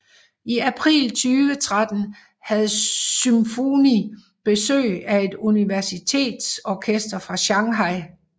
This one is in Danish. I april 2013 havde SymfUni besøg af et universitetsorkester fra Shanghai